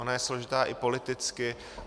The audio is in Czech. Ona je složitá i politicky.